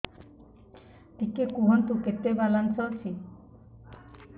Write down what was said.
ଟିକେ କୁହନ୍ତୁ କେତେ ବାଲାନ୍ସ ଅଛି